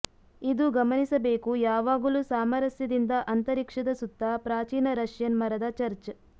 ಇದು ಗಮನಿಸಬೇಕು ಯಾವಾಗಲೂ ಸಾಮರಸ್ಯದಿಂದ ಅಂತರಿಕ್ಷದ ಸುತ್ತ ಪ್ರಾಚೀನ ರಷ್ಯನ್ ಮರದ ಚರ್ಚ್